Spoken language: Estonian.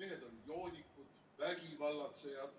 mehed on joodikud, vägivallatsejad.